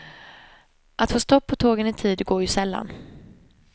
Att få stopp på tågen i tid går ju sällan.